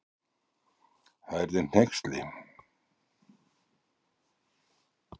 Það yrði hneyksli.